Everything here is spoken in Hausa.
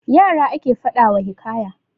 Yara ake faɗa wa hikaya.